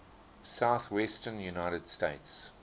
southwestern united states